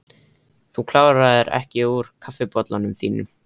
Þú kláraðir ekki úr kaffibollanum þínum.